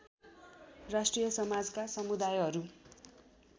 राष्ट्रिय समाजका समुदायहरू